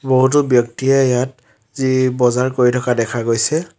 বহুতো ব্যক্তিয়ে ইয়াত যি বজাৰ কৰি থকা দেখা গৈছে।